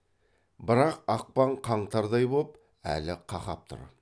бірақ ақпан қаңтардай боп әлі қақап тұр